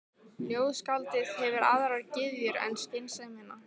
Ljóðskáldið hefur aðrar gyðjur en skynsemina.